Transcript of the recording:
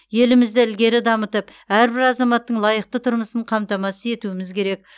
елімізді ілгері дамытып әрбір азаматтың лайықты тұрмысын қамтамасыз етуіміз керек